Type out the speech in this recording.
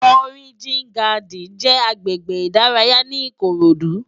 Òrijín Gádìn jè àgbégbé idàráyá ni Ikorodu